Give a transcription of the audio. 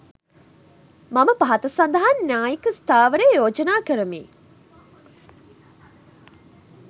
මම පහත සඳහන් න්‍යායික ස්ථාවරය යෝජනා කරමි